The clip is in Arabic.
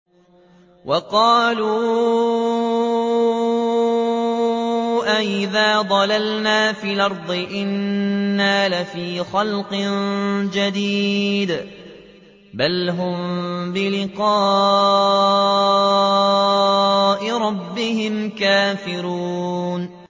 وَقَالُوا أَإِذَا ضَلَلْنَا فِي الْأَرْضِ أَإِنَّا لَفِي خَلْقٍ جَدِيدٍ ۚ بَلْ هُم بِلِقَاءِ رَبِّهِمْ كَافِرُونَ